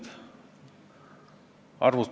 Aga mina tulen tagasi seletuskirja sõnastuse juurde.